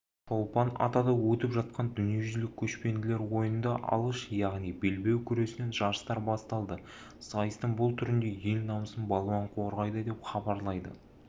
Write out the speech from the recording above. шолпан-атада өтіп жатқан дүниежүзілік көшпенділер ойындарында алыш яғни белбеу күресінен жарыстар басталды сайыстың бұл түрінде ел намысын балуан қорғайды деп хабарлайды